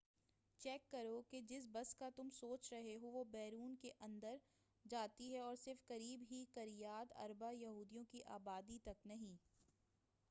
check کرو کہ جس بس کا تم سوچ رہے ہو وہ ہیبرون کے اندر جاتی ہے اور صرف قریب ہی کریات اربا یہودیوں کی آبادی تک نہیں